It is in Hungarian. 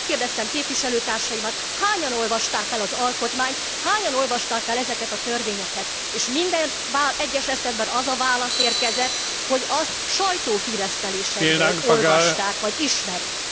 Megkérdeztem képviselőtársaimat, hányan olvasták el az alkotmányt, hányan olvasták el ezeket a törvényeket, és minden egyes esetben az a válasz érkezett, hogy azt sajtóhíresztelésekből olvasták vagy ismerik.